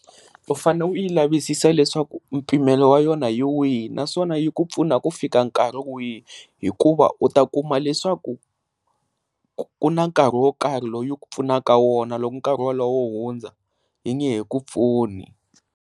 U fanele u yi lavisisa leswaku mpimelo wa yona hi wihi naswona i ku pfuna ku fika nkarhi wihi hikuva u ta kuma leswaku ku na nkarhi wo karhi loyi ku pfunaka wona loko nkarhi wa loho u hundza i nge he ku pfuna.